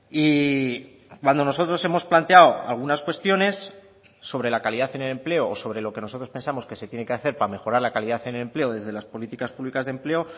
y cuando nosotros hemos planteado algunas cuestiones sobre la calidad en el empleo o sobre lo que nosotros pensamos que se tiene que hacer para mejorar la calidad en el empleo desde las políticas públicas de empleo